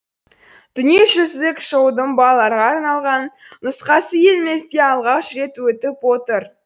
дүниежүзілік шоудың балаларға арналған нұсқасы елімізде алғаш рет өтіп отыр